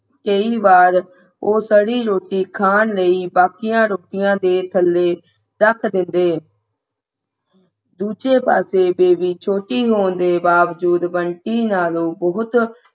ਕਈ ਵਾਰ ਉਹ ਸੜੀ ਰੋਟੀ ਖਾਣ ਲਈ ਬਾਕੀਆਂ ਰੋਟੀਆਂ ਦੇ ਥੱਲੇ ਰੱਖ ਦੇਂਦੇ ਦੂਜੇ ਪਾਸੇ ਬੇਬੀ ਛੋਟੀ ਹੋਣ ਦੇ ਬਾਵਜੂਦ ਬੰਟੀ ਨਾਲੋਂ ਬਹੁਤ